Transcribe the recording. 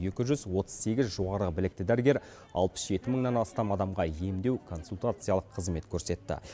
екі жүз отыз сегіз жоғары білікті дәрігер алпыс жеті мыңнан астам адамға емдеу консультациялық қызмет көрсетті